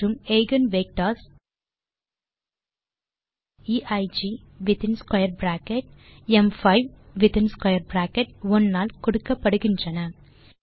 மற்றும் eigen vectors eig within square bracket ம்5 within square bracket 1 ஆல் கொடுக்கப்படுகின்றன